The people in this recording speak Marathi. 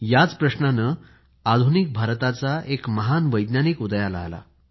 याच प्रश्नाने आधुनिक भारताचा एक महान वैज्ञानिक उदयाला आला